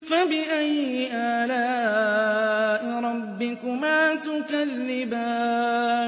فَبِأَيِّ آلَاءِ رَبِّكُمَا تُكَذِّبَانِ